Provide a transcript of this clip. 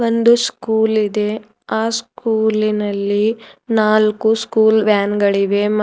ಒಂದು ಸ್ಕೂಲ್ ಇದೆ ಆ ಸ್ಕೂಲಿನಲ್ಲಿ ನಾಲ್ಕು ಸ್ಕೂಲ್ ವ್ಯಾನ್ ಗಳಿವೆ ಮ --